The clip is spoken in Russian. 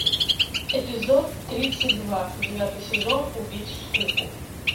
эпизод тридцать два девятый сезон убить скуку